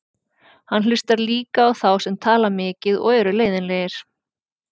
Hann hlustar líka á þá sem tala mikið og eru leiðinlegir.